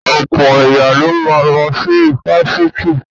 Ọ̀pọ̀ èèyàn ló ma lọ sí ifásitì